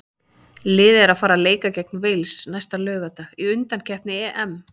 Liðið er að fara að leika gegn Wales næsta laugardag í undankeppni EM.